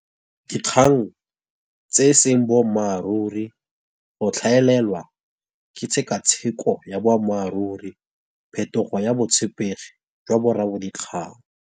Dikgang tse e seng bommaaruri, go tlhaelelwa ke tsheka tsheko ya boammaaruri, phetogo ya botshepegi jwa bo rra bo dikgang.